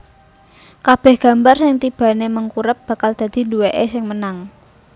Kabèh gambar sing tibané mengkurep bakal dadi duwèké sing menang